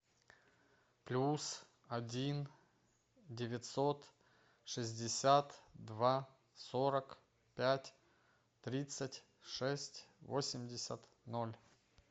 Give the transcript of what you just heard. плюс один девятьсот шестьдесят два сорок пять тридцать шесть восемьдесят ноль